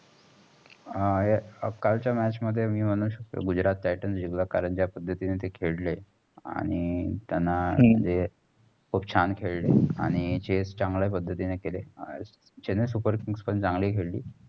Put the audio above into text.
हा कालच्या match मध्ये मी मणू शकते. गुजरात टाइटन्स जिकला. कारण जा पद्धतींनी तेय खेळले आणि तेयांना हा खूप छान खेळले आणि chase चांगले पद्धतींनी केले. चेन्नई सुपर किंग्स पण चांगले खेळली.